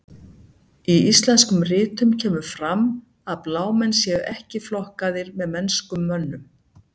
Í íslenskum ritum kemur fyrir að blámenn séu ekki flokkaðir með mennskum mönnum.